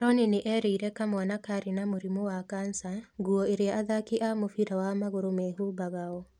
Rooney nĩ erĩire kamwana karĩ na mũrimũ wa kansa nguo iria athaki a mũbira wa magũrũ mehumbagao.